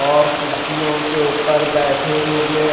और कुर्सियों के ऊपर बैठे हुए--